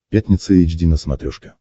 пятница эйч ди на смотрешке